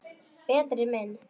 Berti minn.